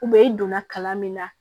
e donna kalan min na